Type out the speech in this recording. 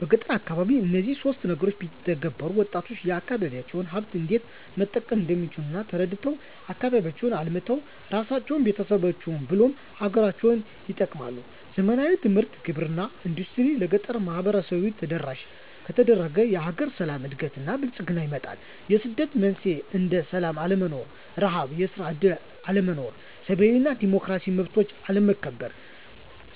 በገጠር አካባቢ እነዚህን ሶስት ነገሮች ቢተገበሩ -ወጣቶች የአካባቢዎቻቸውን ሀብት እንዴት መጠቀም እንደሚችል ተረድተው አካባቢያቸውን አልምተው እራሳቸውን፤ ቤተሰቦቻቸውን ብሎም ሀገርን ይጠቅማሉ። ዘመናዊ ትምህርት፤ ግብርና እና ኢንዱስትሪዎች ለገጠራማው ማህበረሰብ ተደራሽ ከተደረገ የሀገር ሰላም፤ እድገት እና ብልፅግና ይመጣል። የስደት መንስኤዎች እንደ ስላም አለመኖር፤ ርሀብ፤ የስራ እድል አለመኖር፤ ሰብአዊ እና ዲሞክራሲያዊ መብቶች አለመከበር